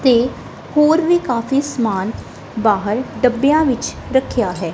ਤੇ ਹੋਰ ਵੀ ਕਾਫੀ ਸਮਾਨ ਬਾਹਰ ਡੱਬੇਯਾਂ ਵਿੱਚ ਰੱਖਿਆ ਹੈ।